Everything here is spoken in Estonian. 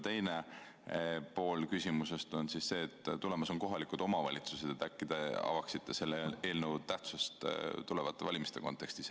Teine pool küsimusest on see, et tulemas on kohalike omavalitsuste valimised ja äkki te avaksite selle eelnõu tähtsust tulevaste valimiste kontekstis.